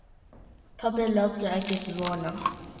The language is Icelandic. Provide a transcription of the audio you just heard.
Pabbi láttu ekki svona.